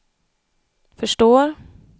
förstår